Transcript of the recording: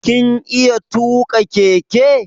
Kin iya tuƙa keke?